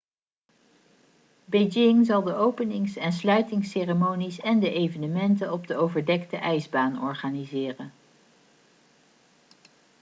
beijing zal de openings en sluitingsceremonies en de evenementen op de overdekte ijsbaan organiseren